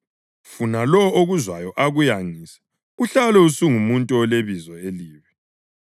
funa lowo okuzwayo akuyangise uhlale usungumuntu olebizo elibi.